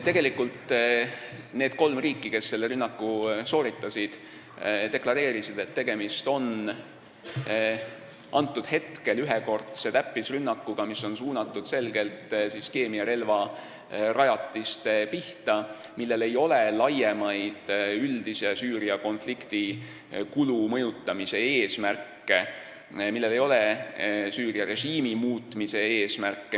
Tegelikult need kolm riiki, kes selle rünnaku sooritasid, deklareerisid, et tegemist on ühekordse täppisrünnakuga, mis on suunatud selgelt keemiarelvarajatiste pihta ja millel ei ole laiemaid üldise Süüria konflikti kulu mõjutamise eesmärke ega Süüria režiimi muutmise eesmärke.